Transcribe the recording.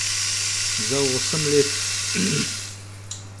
Za osem let.